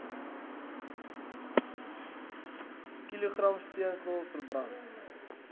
kilogram steenkool verbrand